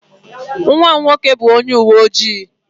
Nwa m nwoke bụ onye uwe ojii.